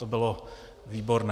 To bylo výborné.